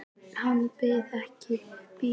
Hann biður mig að bíða og yfirgefur glerbúrið.